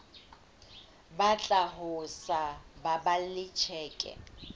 batla ho sa baballe tjhelete